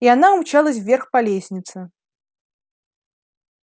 и она умчалась вверх по лестнице